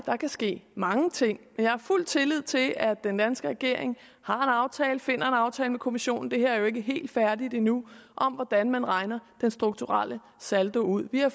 der kan ske mange ting men jeg har fuld tillid til at den danske regering har en aftale finder en aftale med kommissionen det her er jo ikke helt færdigt endnu om hvordan man regner den strukturelle saldo ud vi har